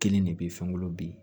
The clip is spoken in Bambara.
Kelen de bɛ fɛnw bin